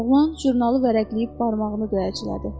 Oğlan jurnalı vərəqləyib barmağını döyəclədi.